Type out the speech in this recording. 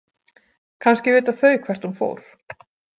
Kannski vita þau hvert hún fór.